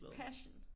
Passion!